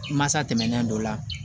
Masa tɛmɛnen dɔ la